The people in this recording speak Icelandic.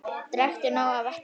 Drekktu nóg af vatni.